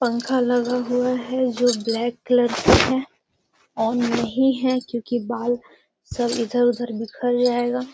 पंखा लगा हुआ है जो ब्लैक कलर से है ऑन नहीं है क्यूंकि बाल सब इधर-उधर बिखर जायेगा।